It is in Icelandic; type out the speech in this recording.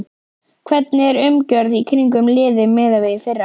Hvernig er umgjörðin í kringum liðið miðað við í fyrra?